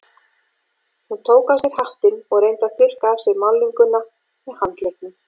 Hún tók af sér hattinn og reyndi að þurrka af sér málninguna með handleggnum.